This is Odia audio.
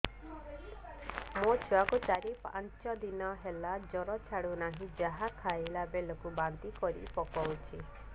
ମୋ ଛୁଆ କୁ ଚାର ପାଞ୍ଚ ଦିନ ହେଲା ଜର ଛାଡୁ ନାହିଁ ଯାହା ଖାଇଲା ବେଳକୁ ବାନ୍ତି କରି ପକଉଛି